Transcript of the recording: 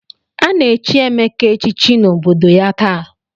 A na-echi Emeka echichi n'obodo ya taa.